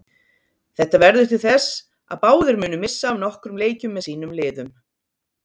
Þetta verður til þess að báðir munu missa af nokkrum leikjum með sínum liðum.